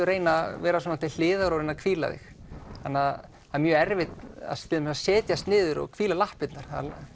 reyna að vera til hliðar og hvíla þig það er mjög erfitt að setjast niður og hvíla lappirnar